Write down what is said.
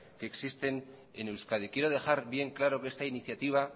que existen en euskadi quiero dejar bien claro que esta iniciativa